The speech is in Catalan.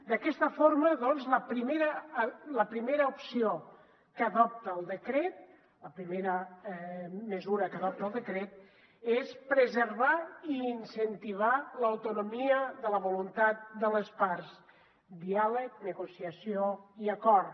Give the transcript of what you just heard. d’aquesta forma doncs la primera opció que adopta el decret la primera mesura que va proposar el decret és preservar i incentivar l’autonomia de la voluntat de les parts diàleg negociació i acord